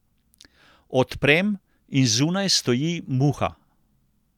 Odprem in zunaj stoji Muha.